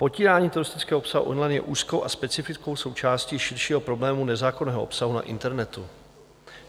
Potírání teroristického obsahu online je úzkou a specifickou součástí širšího problému nezákonného obsahu na internetu.